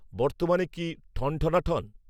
বর্তমানে কি ঠনঠনাঠন